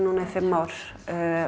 í fimm ár